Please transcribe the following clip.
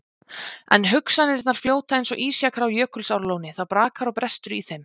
En hugsanirnar fljóta eins og ísjakar á Jökulsárlóni, það brakar og brestur í þeim.